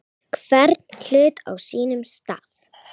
Hvern hlut á sínum stað.